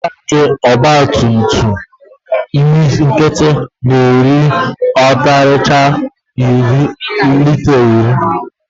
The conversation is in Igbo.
Tanki ọgbatumtum nkịtị na-eri ọkarịchaa lita iri.